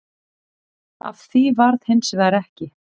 Af því varð hins vegar ekki